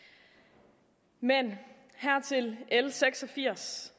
med l seks og firs